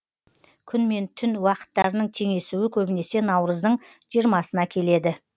күн мен түн уақыттарының теңесуі көбінесе наурыздың жиырмасына келеді